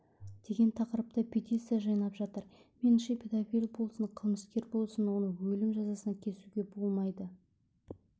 деген тақырыпта петиция жинап жатыр меніңше педофил болсын қылмыскер болсын оны өлім жазасына кесуге болмайды